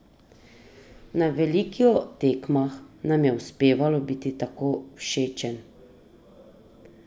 Na veliko tekmah nam je uspevalo biti tako všečen.